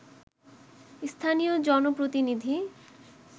স্থানীয় জনপ্রতিনিধি